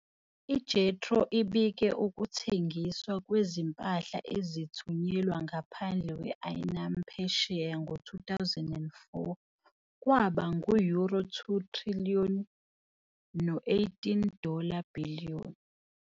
IJETRO ibike ukuthengiswa kwezimpahla ezithunyelwa ngaphandle kwe-anime phesheya ngo-2004 kwaba ngu- euro 2 trillion no 18 dollar billion.